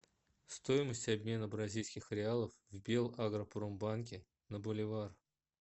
стоимость обмена бразильских реалов в белагропромбанке на боливар